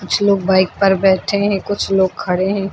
कुछ लोग बाइक पर बैठे हैं कुछ लोग खड़े हैं।